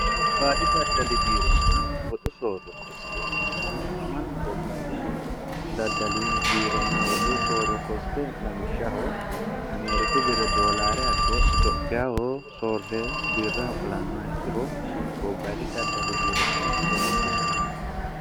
gobbaadi daddali biironna woxu soorro kosiqetinannihu mannu gobbayidi daddali biironna woxu soorro koske lawishshaho ameeriku birre doolaare abbe itophiyaho soorre biirraho qolanoha ikkiro gobbayidi daddali biironna woxu sooro kosqine